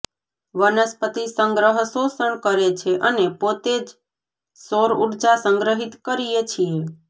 વનસ્પતિ સંગ્રહ શોષણ કરે છે અને પોતે જ સૌર ઊર્જા સંગ્રહિત કરીએ છીએ